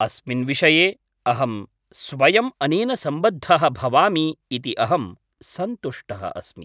अस्मिन् विषये अहं स्वयम् अनेन सम्बद्धः भवामि इति अहं सन्तुष्टः अस्मि।